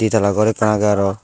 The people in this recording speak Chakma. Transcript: ditala gor ekkan agey aro.